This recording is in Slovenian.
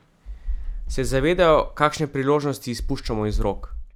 Se zavedajo, kakšne priložnosti izpuščamo iz rok?